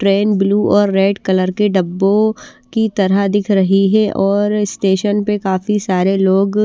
train blue और red colour के डब्बों की तरह दिख रही है और स्टेशन पर काफी सारे लोग --